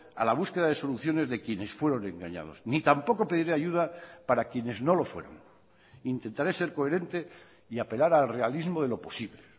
a la búsqueda de soluciones de quienes fueron engañados ni tampoco pediré ayuda para quienes no lo fueron intentaré ser coherente y apelar al realismo de lo posible